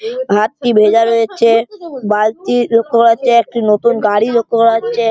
হাতটি ভেজা রয়েছে। বালতি লক্ষ্য করা যাচ্ছে। একটি নতুন গাড়ি লক্ষ্য করা যাচ্ছে।